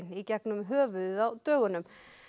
í gegnum höfuðið á dögunum